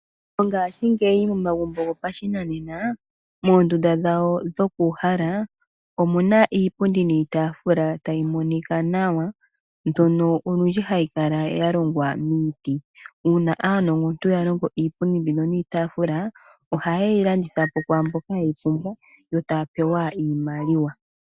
Mongashingeyi momagumbo gopashinanena moondunda dhawo dhoku uhala , omu na iipundi niitaafula tayi monika nawa mbyono olundji hayi kala ya longwa miiti. Uuna aanongontu ya longo iipundi mbino niitaafula ohaye yi landitha po kwaamboka ye yi pumbwa yo taya pewa iimaliwa.